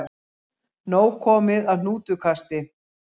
Nóg komið af hnútukasti